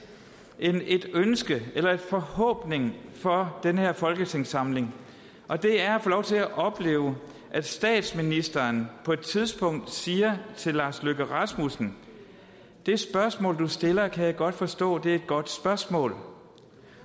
en forhåbning for den her folketingssamling og det er at få lov til at opleve at statsministeren på et tidspunkt siger til lars løkke rasmussen det spørgsmål du stiller kan jeg godt forstå det er et godt spørgsmål